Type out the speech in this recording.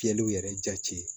Fiyɛliw yɛrɛ jati